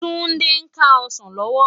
Tunde n ká òsán lòwò